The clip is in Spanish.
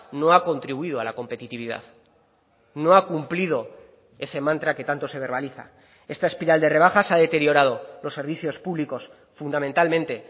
no ha contribuido a la competitividad no ha cumplido ese mantra que tanto se verbaliza esta espiral de rebajas ha deteriorado los servicios públicos fundamentalmente